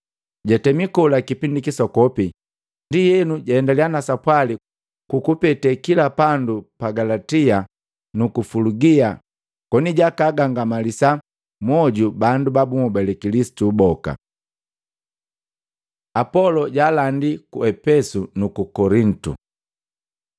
Jatemi kola kipingi kisokopi, ndienu jaendaliya na sapwali kukupete kila pandu pa Galatia nuku Fulugia koni jaagangamalisa mwoju bandu ba bunhobale Kilisitu boka. Apolo jaalandi ku Epesu nuku Kolitu